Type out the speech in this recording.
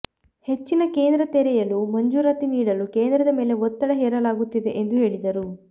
ಹೆಚ್ಚಿನ ಕೇಂದ್ರ ತೆರೆಯಲು ಮಂಜೂರಾತಿ ನೀಡಲು ಕೇಂದ್ರದ ಮೇಲೆ ಒತ್ತಡ ಹೇರಲಾಗುತ್ತಿದೆ ಎಂದು ಹೇಳಿದರು